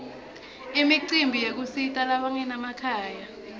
imicimbi yekusita labanganamakhaya